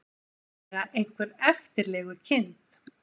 Trúlega einhver eftirlegukind.